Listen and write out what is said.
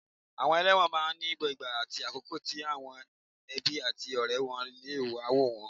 Àwọn ẹlẹ́wọ̀n máa ní ìgbà àti àkókò tí àwọn ẹbí àti ọ̀rẹ́ wọ́n lè wá wò wọ́n